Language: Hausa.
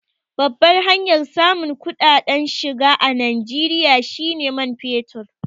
Babbar hanyar samun kuɗaɗen shiga a Najeriya shi ne man fetur.